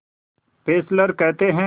Fessler कहते हैं